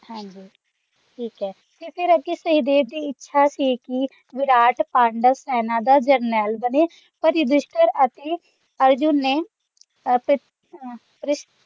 ਹਾਂਜੀ ਠੀਕ ਹੈ ਤੇ ਫੇਰ ਅੱਗੇ ਸਹਿਦੇਵ ਦੀ ਇੱਛਾ ਸੀ ਕਿ ਵਿਰਾਟ ਪਾਂਡਵ ਸੈਨਾ ਦਾ ਜਰਨੈਲ ਬਣੇ ਪਰ ਯੁਧਿਸ਼ਟਰ ਅਤੇ ਅਰਜੁਨ ਨੇ